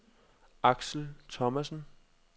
Axel Thomassen